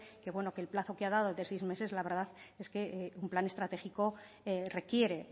que el plazo que ha dado de seis meses la verdad un plan estratégico requiere